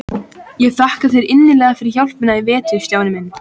Ég þakka þér innilega fyrir hjálpina í vetur, Stjáni minn.